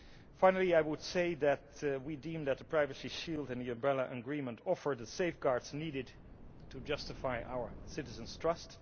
Finally, I would say that we deem that the Privacy Shield and the Umbrella Agreement offer the safeguards needed to justify our citizens' trust.